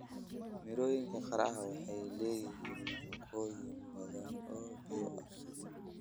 Mirooyinka qaraha waxay leeyihiin nafaqooyin badan oo biyo ah.